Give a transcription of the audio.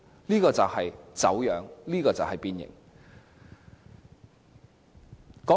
這就是走樣，這就是變形。